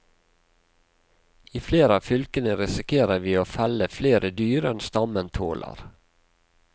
I flere av fylkene risikerer vi å felle flere dyr enn stammen tåler.